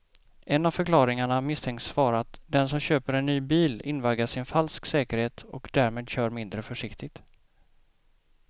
En av förklaringarna misstänks vara att den som köper en ny bil invaggas i en falsk säkerhet och därmed kör mindre försiktigt.